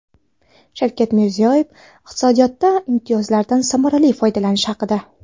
Shavkat Mirziyoyev iqtisodiyotda imtiyozlardan samarali foydalanish haqida.